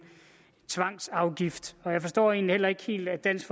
tvangsafgift jeg forstår egentlig heller ikke helt at dansk